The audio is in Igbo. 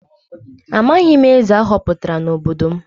Amaghị m eze a họpụtara n’obodo m.